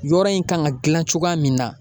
Yɔrɔ in kan ka dilan cogoya min na